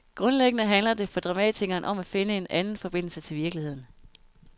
Grundlæggende handler det for dramatikeren om at finde en anden forbindelse til virkeligheden.